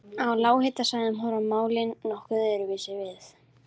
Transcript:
Á lághitasvæðum horfa málin nokkuð öðruvísi við.